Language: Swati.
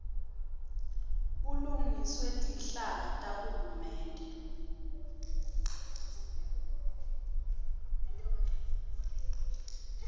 bulungiswe tinhlaka tahulumende